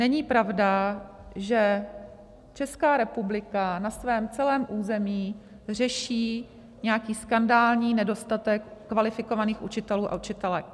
Není pravda, že Česká republika na svém celém území řeší nějaký skandální nedostatek kvalifikovaných učitelů a učitelek.